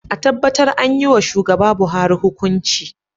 A tabbatar an yiwa shugaba Buhari hukunci.